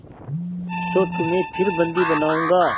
तो तुम्हें फिर बंदी बनाऊँगा